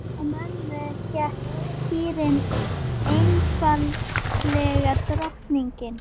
Hjá mömmu hét kýrin einfaldlega Drottning.